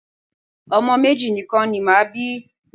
Ọmọ méjì nìkan ni màá bí.